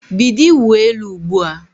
Bido ịwụ elu ugbu a!